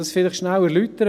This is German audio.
Ich erläutere dies kurz.